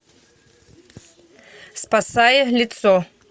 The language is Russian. спасая лицо